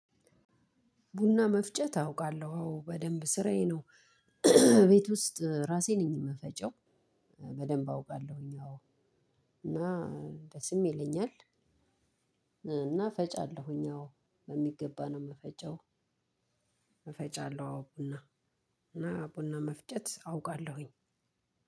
ቡና መፍጨት አውቃለሁ አዎ በደንብ ስራዬ ነው። ቤት ውስጥ ራሴ ነኝ የምፈጨው በደንብ አውቃለሁኝ አዎ እና ደስም ይለኛል። እና ፈጫለሁኝ አዎ በሚገባ ነው የምፈጫው እፈጫለሁ አዎ ቡና እና ቡና መፍጨት አውቃለሁኝ።